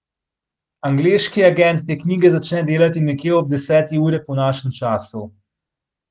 Angleški agent te knjige začne delati nekje ob deseti uri po našem času.